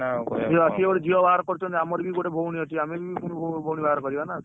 ସିଏ ଗୋଏ ଝିଅ ବାହାଘର କରଛନ୍ତି ଆମର ବି ଗୋଟେ ଭଉଣୀ ଅଛି ଆମେ ବି ଗୋଟେ ଭଉଣୀ ବାହାଘର କରିବା ନା